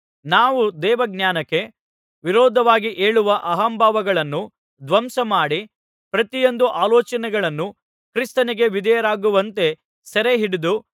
ನಾವು ದೇವಜ್ಞಾನಕ್ಕೆ ವಿರೋಧವಾಗಿ ಏಳುವ ಅಹಂಭಾವಗಳನ್ನು ಧ್ವಂಸಮಾಡಿ ಪ್ರತಿಯೊಂದು ಆಲೋಚನೆಗಳನ್ನೂ ಕ್ರಿಸ್ತನಿಗೆ ವಿಧೇಯರಾಗುವಂತೆ ಸೆರೆಹಿಡಿದು